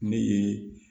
Ne ye